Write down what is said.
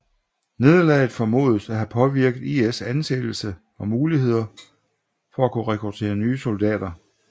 Nederlaget formodes at have påvirket IS anseelse og muligheder for at kunne rekruttere nye soldater